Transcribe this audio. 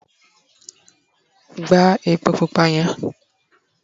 gba epo pupa yen